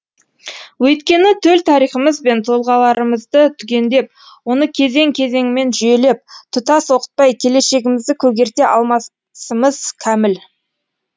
өйткені төл тарихымыз бен тұлғаларымызды түгендеп оны кезең кезеңімен жүйелеп тұтас оқытпай келешегімізді көгерте алмасымыз кәміл